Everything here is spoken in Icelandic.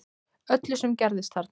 Öllu sem gerðist þarna